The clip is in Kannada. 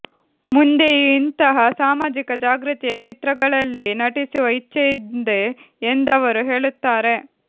ಮುಂದೆಯೂ ಇಂತಹ ಸಾಮಾಜಿಕ ಜಾಗೃತಿಯ ಚಿತ್ರಗಳಲ್ಲಿ ನಟಿಸುವ ಇಚ್ಛೆಯಿದೆ ಎಂದವರು ಹೇಳುತ್ತಾರೆ